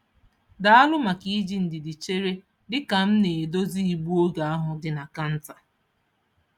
Daalụ maka iji ndidi chere dị ka m na-edozi igbu oge ahụ dị na kanta.